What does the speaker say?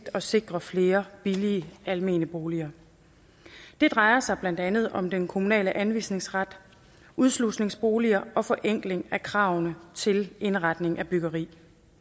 at sikre flere billige almene boliger det drejer sig blandt andet om den kommunale anvisningsret udslusningsboliger og forenkling af kravene til indretning af byggeri